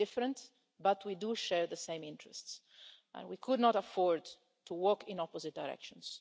We are different, but we do share the same interests and we could not afford to walk in opposite directions.